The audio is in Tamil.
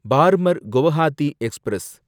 பார்மர் கௌஹாத்தி எக்ஸ்பிரஸ்